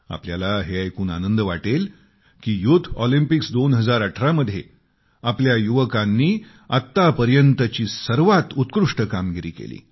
आपल्याला हे ऐकून आनंद वाटेल की युथ ऑलिम्पिक्स 2018 मध्ये आपल्या युवकांनी आतापर्यंतची सर्वात उत्कृष्ट कामगिरी केली